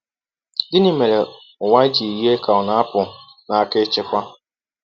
Gịnị mere ụwa ji yie ka ọ na-apụ n’aka ịchịkwa?